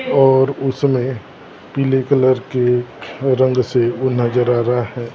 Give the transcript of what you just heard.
और उसमें पीले कलर के रंग से वो नजर आ रहा है सब।